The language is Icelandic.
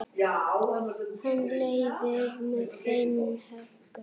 Hann leiðir með tveimur höggum.